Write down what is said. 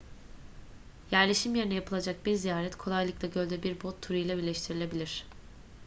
yerleşim yerine yapılacak bir ziyaret kolaylıkla gölde bir bot turu ile birleştirilebilir